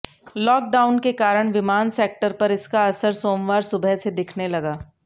lockdown के कारण विमान सेक्टर पर इसका असर सोमवार सुबह से दिखने लगा